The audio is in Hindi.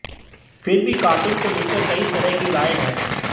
फिर भी कार्टून को लेकर कई तरह की राय है